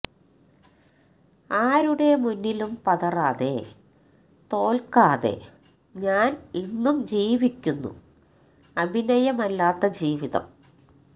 ആരുടെ മുന്നിലും പതറാതെ തോല്ക്കാതെ ഞാന് ഇന്നും ജീവിക്കുന്നു അഭിനയമല്ലാത്ത ജീവിതം